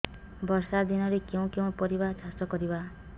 ବର୍ଷା ଦିନରେ କେଉଁ କେଉଁ ପରିବା ଚାଷ କରିବା